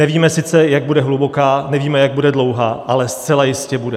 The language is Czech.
Nevíme sice, jak bude hluboká, nevíme, jak bude dlouhá, ale zcela jistě bude.